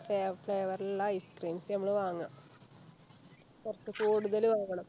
ഫ്ലാ Flavour ഉള്ള Ice creams ഞമ്മള് വാങ്ങാ കൊർച്ച് കൂടുതല് വാങ്ങണം